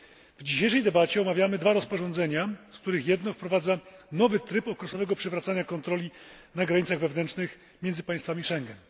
W dzisiejszej debacie omawiamy dwa rozporządzenia, z których jedno wprowadza nowy tryb określonego przywracania kontroli na granicach wewnętrznych między państwami Schengen.